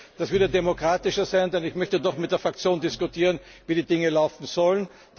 Das wäre demokratischer, denn ich möchte doch mit der Fraktion diskutieren, wie die Dinge laufen sollen.